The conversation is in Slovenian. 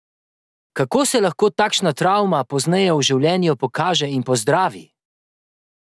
Kako se lahko takšna travma pozneje v življenju pokaže in pozdravi?